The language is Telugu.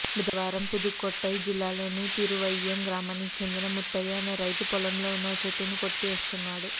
బుధవారం పుదుక్కోటై జిల్లాలోని తిరుమయ్యం గ్రామానికి చెందిన ముత్తయ్య అనే రైతు పొలంలో ఉన్న ఓ చెట్టును కొట్టేస్తున్నాడు